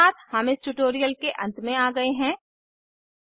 spoken tutorial project talk to a teacher project का हिस्सा है